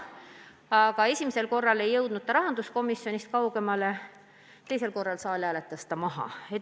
Aga esimesel korral ei jõudnud see rahanduskomisjonist kaugemale, teisel korral saal hääletas maha.